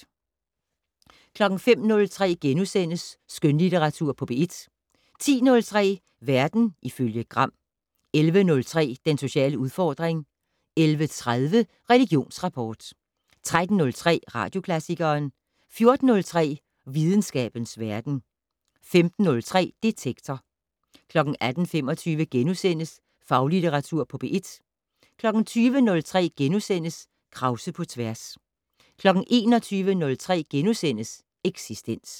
05:03: Skønlitteratur på P1 * 10:03: Verden ifølge Gram 11:03: Den sociale udfordring 11:30: Religionsrapport 13:03: Radioklassikeren 14:03: Videnskabens Verden 15:03: Detektor 18:25: Faglitteratur på P1 * 20:03: Krause på tværs * 21:03: Eksistens *